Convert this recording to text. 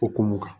Okumu kan